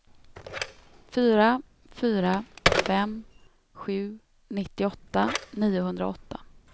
fyra fyra fem sju nittioåtta niohundraåtta